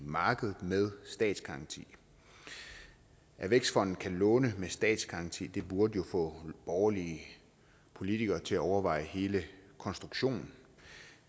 markedet med statsgaranti at vækstfonden kan låne med statsgaranti burde jo få borgerlige politikere til at overveje hele konstruktionen